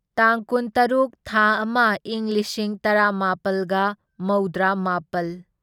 ꯇꯥꯡ ꯀꯨꯟꯇꯔꯨꯛ ꯊꯥ ꯑꯃ ꯢꯪ ꯂꯤꯁꯤꯡ ꯇꯔꯥꯃꯥꯄꯜꯒ ꯃꯧꯗ꯭ꯔꯥꯃꯥꯄꯜ